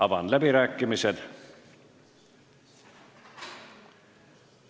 Avan läbirääkimised.